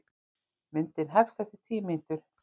Myndin hefst eftir tíu mínútur.